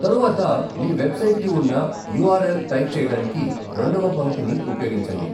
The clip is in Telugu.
తరువాత మీ వెబ్సైట్కి ఉన్న యూ ఆర్ ఎల్ టైప్ చేయడానికి రెండవ పంక్తిని ఉపయోగించండి.